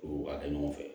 U b'a kɛ ɲɔgɔn fɛ